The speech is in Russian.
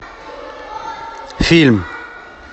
фильм